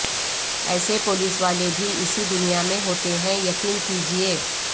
ایسے پولیس والے بھی اسی دنیا میں ہوتے ہیں یقین کیجئے